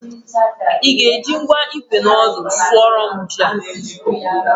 ị ga-eji ngwa ikwe na ọdụ sụọrọ m ji a